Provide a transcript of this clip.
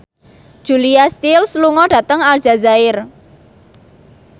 Julia Stiles lunga dhateng Aljazair